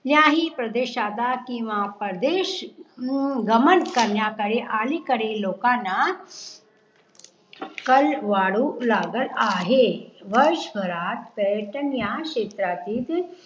याही प्रदेशाचा किंवा परदेश भ्रमण करण्याकडे अलीकडील लोकाना कल वाढू लागत आहे, वर्षभरात पर्यटन या क्षेत्रातील